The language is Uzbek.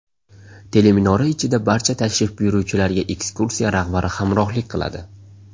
Teleminora ichida barcha tashrif buyuruvchilarga ekskursiya rahbari hamrohlik qiladi.